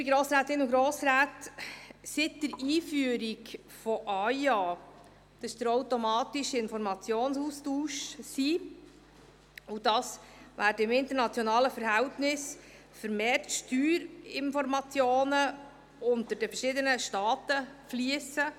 Liebe Grossrätinnen und Grossräte, seit der Einführung des AIA, des automatischen Informationsaustauschs über Finanzkonten, werden vermehrt Steuerinformationen unter den verschiedenen Staaten ausgetauscht.